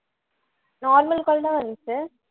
normal call தான் வருது